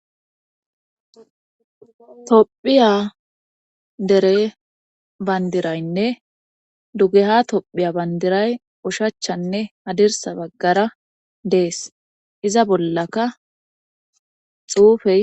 tophiya dere bandiraynne dugeha tophiya bandiray ushachanne hadirsa baggara dees iza bollaka xuufey